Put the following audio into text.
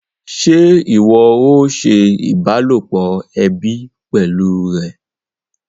Ṣé ìwọ o ṣe ìbálòpọ̀ ẹbí pẹlú rẹ?